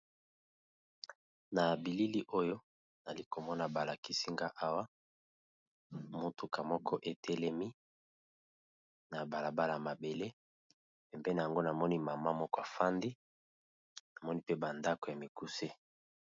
Na bilili oyo nali komona ba lakisi nga awa motuka moko etelemi na bala bala mabele, pembeni nango namoni mama moko afandi namoni mpe ba ndako ya mikuse.